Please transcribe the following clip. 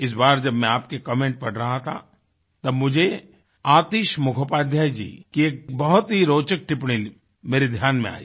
इस बार जब मैं आपके कमेंट पढ़ रहा था तब मुझे आतिश मुखोपाध्याय जी की एक बहुत ही रोचक टिप्पणी मेरे ध्यान में आई